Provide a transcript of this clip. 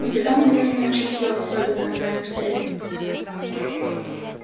у тебя наверное чутье особенное на эту дрянь